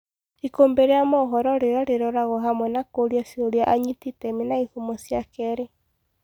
Ikũmbi ria mohoro rĩrĩa rĩroragwo hamwe na kũũria ciũria anyiti iteme na ihumo cia keerĩ.